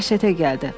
Dəhşətə gəldi.